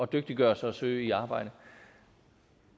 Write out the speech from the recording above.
dygtiggøre sig og søge i arbejde